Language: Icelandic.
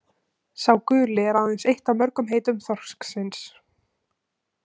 „Sá guli“ er aðeins eitt af mörgum heitum þorsksins.